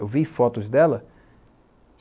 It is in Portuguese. Eu vi fotos dela.